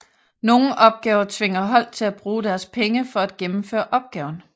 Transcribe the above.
Nogle opgaver tvinger hold til at bruge deres penge for at gennemføre opgaven